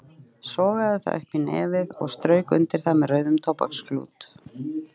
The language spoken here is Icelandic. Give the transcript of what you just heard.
Sogaði það upp í nefið og strauk undir það með rauðum tóbaksklút.